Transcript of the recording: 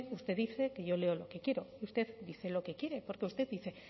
usted dice que yo leo lo que quiero y usted dice lo que quiere porque usted dice